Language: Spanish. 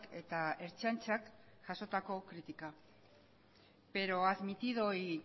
eta ertzaintzak jasotako kritikak pero admitido y